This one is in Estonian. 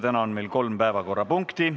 Täna on meil kolm päevakorrapunkti.